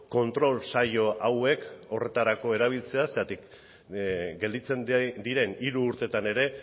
kontrol saio hauek horretarako erabiltzea zergatik gelditzen diren hiru urteetan ere